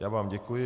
Já vám děkuji.